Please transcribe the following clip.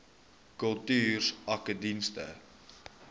kultuursakedienste